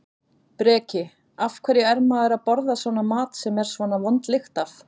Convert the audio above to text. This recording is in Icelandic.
Breki: Af hverju er maður að borða svona mat sem er svona vond lykt af?